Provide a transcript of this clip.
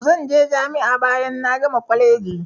Zan je jami'a bayan na gama kwaleji.